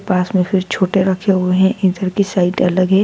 पास में फिर छोटे रखे हुए हैं इधर की साइट अलग है।